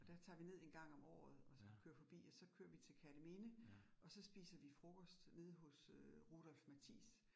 Og der tager vi ned 1 gang om året og kører forbi, og så kører vi til Kerteminde og så spiser vi frokost nede hos øh Rudolf Mathis